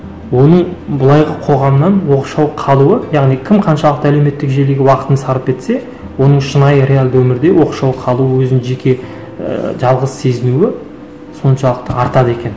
оның былай қоғамнан оқшау қалуы яғни кім қаншалықты әлеуметтік желіге уақытын сарп етсе оның шынайы реалды өмірде оқшау қалуы өзін жеке ііі жалғыз сезінуі соншалықты артады екен